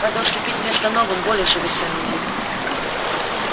надо уступить место новым более совершенным видам